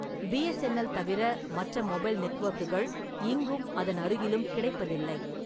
BSNL தவிர மற்ற mobile நெட்வொர்க்குகள் இங்கும் அதன் அருகிலும் கிடைப்பதில்லை.